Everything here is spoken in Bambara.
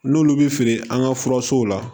N'olu bɛ feere an ka furasow la